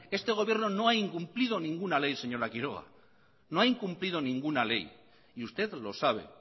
este gobierno no ha incumplido ninguna ley señora quiroga no ha incumplido ninguna ley y usted lo sabe